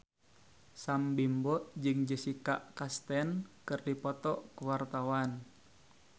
Sam Bimbo jeung Jessica Chastain keur dipoto ku wartawan